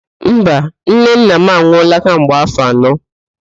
Mba, nnenne m anwụọla kemgbe áfọ̀ anọ